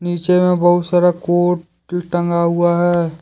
पीछे में बहुत सारा कोट टंगा हुआ है।